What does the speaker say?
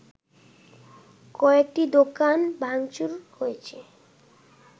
কয়েকটি দোকান ভাংচুর হয়েছে